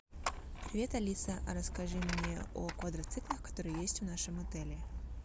привет алиса расскажи мне о квадроциклах которые есть в нашем отеле